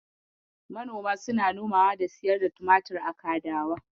Manoma suna nomawa da siyar da tumatir a kadawa.